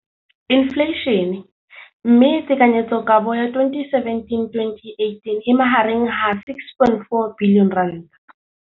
Infleišene, mme tekanyetsokabo ya 2017, 18, e magareng ga R6.4 bilione.